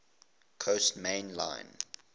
coast main line